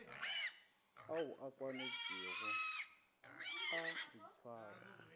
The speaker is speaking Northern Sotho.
ao a kwanetšwego a boitshwaro